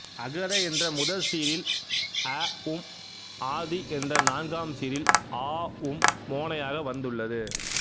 அகர என்ற முதற் சீரில் அ உம் ஆதி என்ற நான்காம் சீரில் ஆ உம் மோனையாக வந்துள்ளது